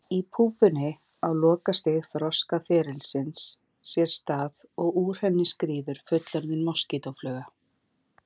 Í púpunni á lokastig þroskaferilsins sér stað og úr henni skríður fullorðin moskítófluga.